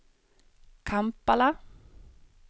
Kampala